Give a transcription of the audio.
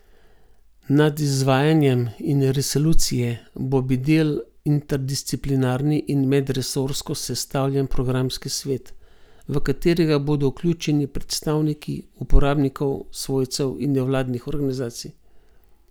Nad izvajanjem in resolucije bo bedel interdisciplinarni in medresorsko sestavljen programski svet, v katerega bodo vključeni predstavniki uporabnikov, svojcev in nevladnih organizacij.